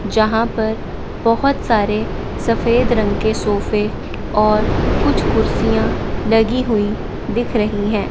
यहां पर बहुत सारे सफेद रंग के सोफे और कुछ कुर्सियां लगी हुई दिख रही हैं।